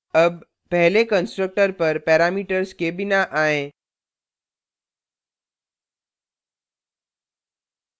अब पहले constructor पर parameters के बिना आएँ